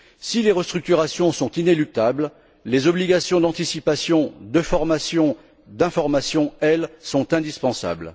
Si les restructurations sont inéluctables, les obligations d'anticipation de formation et d'information, elles, sont indispensables.